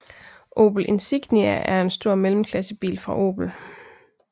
Opel Insignia er en stor mellemklassebil fra Opel